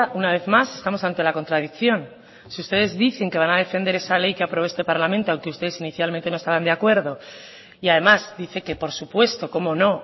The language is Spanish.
una vez más estamos ante la contradicción si ustedes dicen que van a defender esa ley que aprobó este parlamento aunque ustedes inicialmente no estaban de acuerdo y además dice que por su puesto cómo no